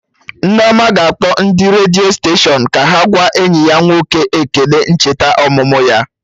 Nneoma ga-akpọ ndị redio steshọnụ ka ha gwa enyi ya nwoke ekele ncheta ọmụmụ ya